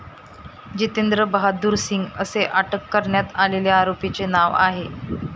जितेंद्र बहादूर सिंग, असे अटक करण्यात आलेल्या आरोपीचे नाव आहे.